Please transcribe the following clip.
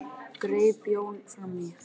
greip Jón fram í.